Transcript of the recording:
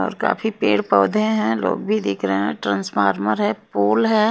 और काफी पेड़ पौधे हैं लोग भी देख रहे हैं ट्रांसफार्मर है पूल है।